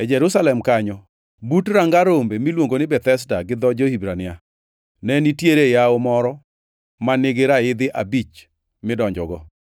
E Jerusalem kanyo, but ranga Rombe, miluongo ni Bethesda gi dho jo-Hibrania, ne nitiere yawo moro ma nigi raidhi abich midonjogo.